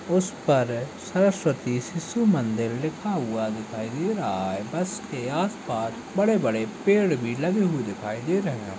उस पर सरस्वती शिशु मंदिर लिखा हुआ दिखाई दे रहा है बस के आस-पास बड़े-बड़े पेड़ भी लगे हुए दिखाई दे रहे हैं।